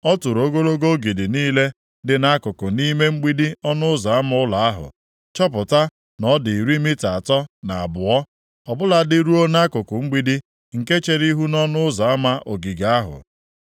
Ọ tụrụ ogologo ogidi niile dị nʼakụkụ nʼime mgbidi ọnụ ụzọ ama ụlọ ahụ, chọpụta na ọ dị iri mita atọ na abụọ, ọ bụladị ruo nʼakụkụ mgbidi nke chere ihu nʼọnụ ụzọ ama ogige ahụ.